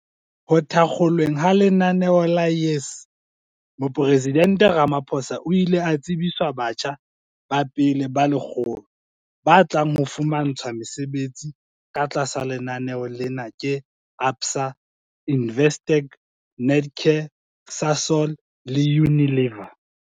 Ho thakgolweng ha lenaneo la YES Moporesidente Ramaphosa o ile a tsebiswa batjha ba pele ba 100 ba tlang ho fumantshwa mesebetsi ka tlasa lenaneo lena ke ABSA, Investec, Netcare, Sasol le Unilever.